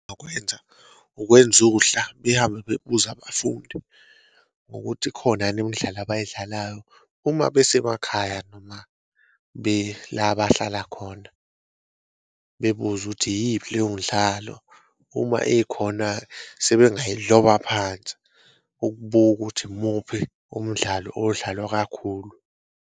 Ukwenza uhla behambe bebuza abafundi ngokuthi ikhona yini imidlalo abayidlalayo uma besemakhaya noma bela abahlala khona, bebuze ukuthi iyiphi leyo mdlalo uma ikhona sebengayiloba phansi ukubuka ukuthi umuphi umdlalo odlalwa kakhulu.